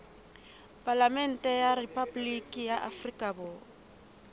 palamente ya rephaboliki ya afrika